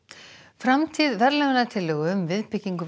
framtíð verðlaunatillögu um viðbyggingu við